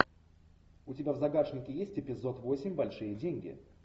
у тебя в загашнике есть эпизод восемь большие деньги